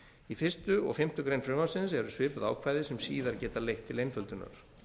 í fyrsta og fimmtu grein frumvarpsins eru svipuð ákvæði sem síðar geta leitt til einföldunar